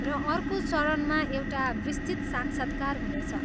र अर्को चरणमा एउटा विस्तृत साक्षात्कार हुनेछ।